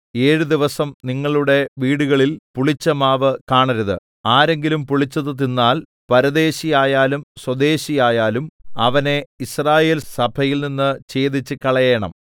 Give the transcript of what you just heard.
ഏഴ് ദിവസം നിങ്ങളുടെ വീടുകളിൽ പുളിച്ചമാവ് കാണരുത് ആരെങ്കിലും പുളിച്ചത് തിന്നാൽ പരദേശിയായാലും സ്വദേശിയായാലും അവനെ യിസ്രായേൽ സഭയിൽനിന്ന് ഛേദിച്ചുകളയേണം